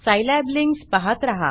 Scilab links पाहात रहा